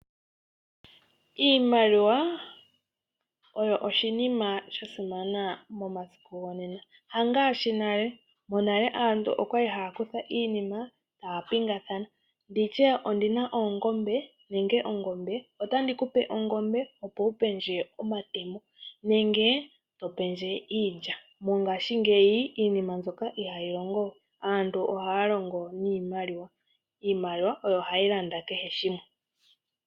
Iimaliwa oyo oshinima shasimana momasiku gonena, ha ngaashi nale. Monale aantu okwali hay kutha iinima taya pingathana nditye ondina oongombe nenge ongombe otandikupe omatemo nenge topendje iilya, mongaashingeyi iinima mbyono ihayi longowe. Aantu ohaya longo niimaliwa, iimaliwa oyo hayi landa kehe shimwe.